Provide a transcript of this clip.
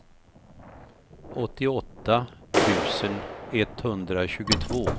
åttioåtta tusen etthundratjugotvå